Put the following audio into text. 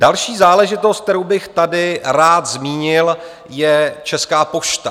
Další záležitost, kterou bych tady rád zmínil, je Česká pošta.